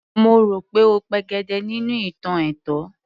Mo rò pé ó pegedé nínú ìtàn ẹ̀tàn